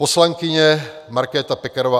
Poslankyně Markéta Pekarová